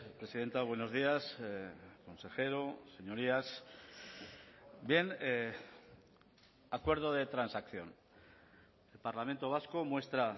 presidenta buenos días consejero señorías bien acuerdo de transacción el parlamento vasco muestra